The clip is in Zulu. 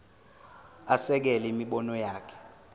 asekele imibono yakhe